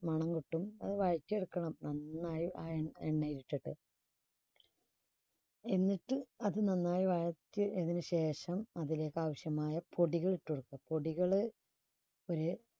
മണം കിട്ടും അത് വഴറ്റി എടുക്കണം. നന്നായി ആ എണ്ണ~എണ്ണയിൽ ഇട്ടിട്ട് എന്നിട്ട് അത് നന്നായി വഴറ്റി അതിനുശേഷം അതിലേക്കാവശ്യമായ പൊടികൾ ഇട്ടുകൊടുക്കുക. പൊടികള് ഒരു